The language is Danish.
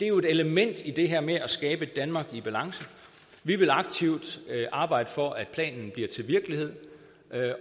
jo et element i det her med at skabe et danmark i balance vi vil aktivt arbejde for at planen bliver til virkelighed